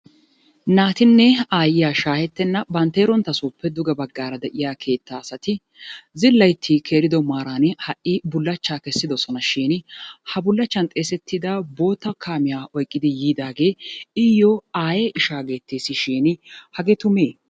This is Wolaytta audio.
Naatinne aayyiya shaahettenna bantteerontta sooppe duge baggaara de'iyaa keettaa asati zillaytti keerido maaran ha"i bullachchaa kessidosonashin ha bullachchan xeesettida bootta kaamiya oyqidi yiidaagee iyyoo aaye ishaa geetteesishin hagee tumee?